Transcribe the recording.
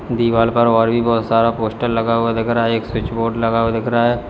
दीवाल पर और भी बहुत सारा पोस्टर लगा हुआ दिख रहा है एक स्विच बोर्ड लगा हुआ दिख रहा है।